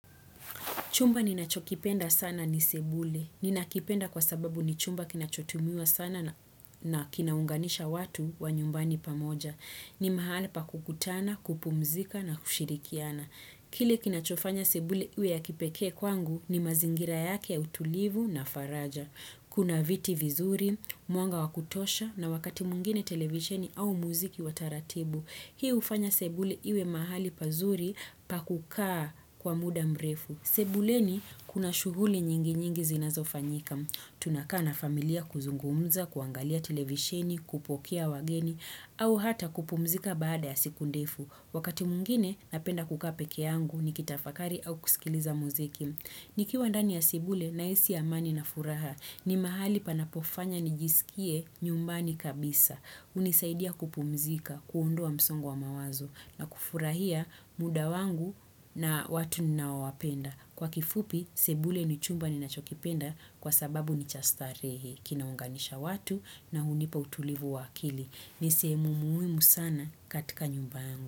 Chumba ninachokipenda sana ni sebule. Ninakipenda kwa sababu ni chumba kinachotumiwa sana na kinaunganisha watu wa nyumbani pamoja. Ni mahali pa kukutana, kupumzika na kushirikiana. Kili kinachofanya sebule iwe ya kipekee kwangu ni mazingira yake ya utulivu na faraja. Kuna viti vizuri, mwanga wa kutosha na wakati mwengine televisheni au muziki wa taratibu. Hii hufanya sebule iwe mahali pazuri pa kukaa kwa muda mrefu. Sebuleni kuna shughuli nyingi nyingi zinazofanyika. Tunakaa na familia kuzungumza, kuangalia televisheni, kupokea wageni, au hata kupumzika baada ya siku ndefu. Wakati mwengine napenda kukaa peke yangu nikitafakari au kusikiliza muziki. Nikiwa ndani ya sebule nahisi amani na furaha ni mahali panapofanya nijisikie nyumbani kabisa. Hunisaidia kupumzika, kuondoa msongo wa mawazo na kufurahia muda wangu na watu ninaowapenda. Kwa kifupi, sebule ni chumba ninachokipenda kwa sababu ni cha starehe kinaunganisha watu na hunipa utulivu wa akili. Ni sehemu muhimu sana katika nyumba yangu.